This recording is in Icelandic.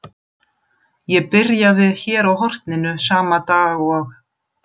Ég byrjaði hér á horninu sama dag og